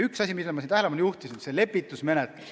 Üks asi, millele ma juba tähelepanu juhtisin, on lepitusmenetlus.